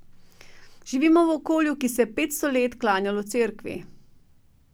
Živimo v okolju, ki se je petsto let klanjalo Cerkvi.